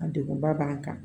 A degun ba b'an kan